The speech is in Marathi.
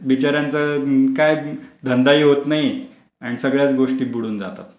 बिचाऱ्यांचा धंदा काय होत नाही आणि सगळ्याच गोष्टी बुडून जातात.